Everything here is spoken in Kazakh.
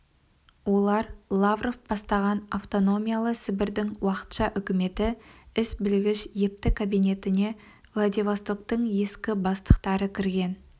олар лавров бастаған автономиялы сібірдің уақытша үкіметі іс білгіш епті кабинетіне владивостоктың ескі бастықтары кірген